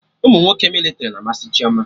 Umunwoke mịlịtrị na amasị Chioma